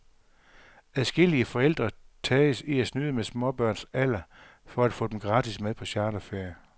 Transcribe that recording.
Adskillige forældre tages i at snyde med småbørns alder for at få dem gratis med på charterferie.